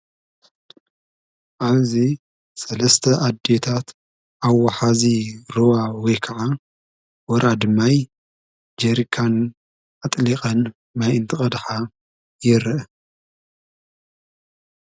ኣብዚ ሰለስተ ኣዴታት ኣብ ዋሓዚ ሩባ ወይ ከዓ ወራዲ ማይ ጀሪካን ኣጥሊቐን ማይ እንትቐድሓ ይረአ፡፡